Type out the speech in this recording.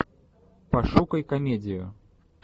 пошукай комедию